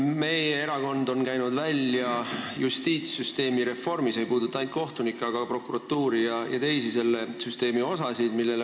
Meie erakond on käinud välja justiitssüsteemi reformi, mis ei puudutaks ainult kohtunikke, vaid ka prokuratuuri ja teisi selle süsteemi osasid.